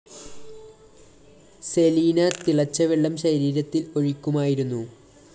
സെലീന തിളച്ച വെള്ളം ശരീരത്തില്‍ ഒഴിക്കുമായിരുന്നു